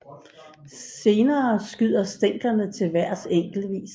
Senere skyder stænglerne til vejrs enkeltvis